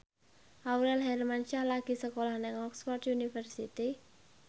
Aurel Hermansyah lagi sekolah nang Oxford university